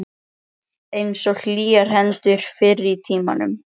Svo rann aftur á mig mók og ég sofnaði.